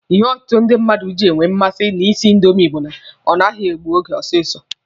Ihe ọtụtụ ndị mmadụ ji enwe mmasị na ị sị indomi bụ na ọ naghị egbu oge osisi.